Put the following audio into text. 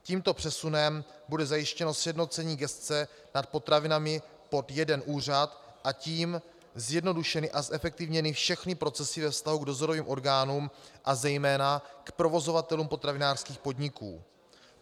Tímto přesunem bude zajištěno sjednocení gesce nad potravinami pod jeden úřad, a tím zjednodušeny a zefektivněny všechny procesy ve vztahu k dozorovým orgánům a zejména k provozovatelům potravinářských podniků.